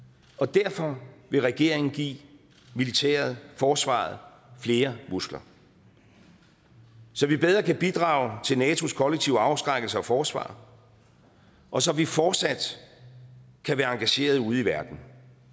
derfor vil regeringen give militæret forsvaret flere muskler så vi bedre kan bidrage til nato’s kollektive afskrækkelse og forsvar og så vi fortsat kan være engagerede ude i verden